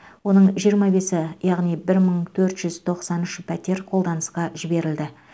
оның жиырма бесі яғни бір мың төрт жүз тоқсан үш пәтер қолданысқа жіберілді